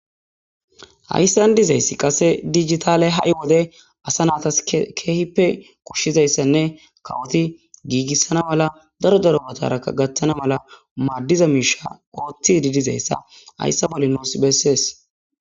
hayssan dizayssi qase digitale ha7i wode asa naatas keehippe koshshizayssanne kawoti giigissana mala daro darobataraka gaththana malamaaddiza miisha ooththidi dizayssa hayssa balinoos bessees